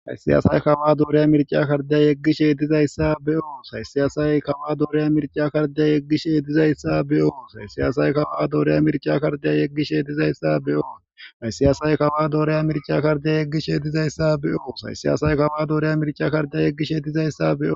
haysi aasay kawuwaa dooriya mirca kardiya yeggishe dizayssa be7os haysi aasay kawuwaa doore mirca kardiya yeggishe dizayssa be7os haysi aasay kawuwaa doore mirca kardiya yeggishe dizayssa be7os haysi aasay kawuwaa doore mirca kardiya yeggishe dizayssa be7os haysi aasay kawuwaa doore mirca kardiya yeggishe dizayssa be7os.